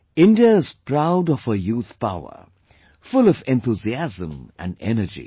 India is proud of its youth power, full of enthusiasm and energy